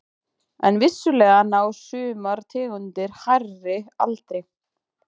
En vissulega ná sumar tegundir hærri aldri.